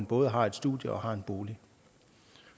både har et studie og har en bolig